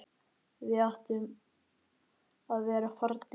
Við áttum að vera farnir.